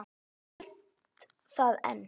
Ég held það enn.